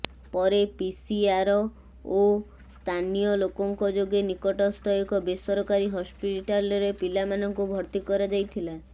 ପରେ ପିସିଆର ଓ ସ୍ଥାନିୟ ଲୋକଙ୍କ ଯୋଗେ ନିକଟସ୍ଥ ଏକ ବେସରକାରୀ ହସ୍ପିଟାଲରେ ପିଲାମାନଙ୍କୁ ଭର୍ତ୍ତି କରାଯାଇଥିଲା